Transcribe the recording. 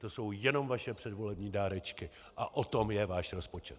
To jsou jenom vaše předvolební dárečky a o tom je váš rozpočet.